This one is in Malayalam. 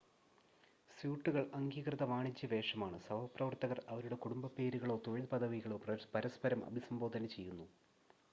സ്യൂട്ടുകൾ അംഗീകൃത വാണിജ്യ വേഷമാണ് സഹപ്രവർത്തകർ അവരുടെ കുടുംബപ്പേരുകളോ തൊഴിൽ പദവികളോ പരസ്പരം അഭിസംബോധന ചെയ്യുന്നു